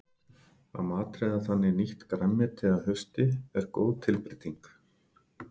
Að matreiða þannig nýtt grænmeti að hausti er góð tilbreyting.